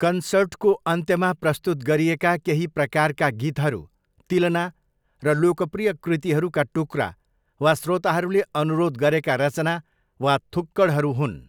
कन्सर्टको अन्त्यमा प्रस्तुत गरिएका केही प्रकारका गीतहरू तिलना र लोकप्रिय कृतिहरूका टुक्रा वा श्रोताहरूले अनुरोध गरेका रचना वा थुक्कडहरू हुन्।